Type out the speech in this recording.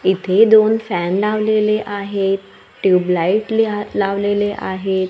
इथे दोन फॅन लावलेले आहेत ट्यूबलाईट ली लावलेले आहेत.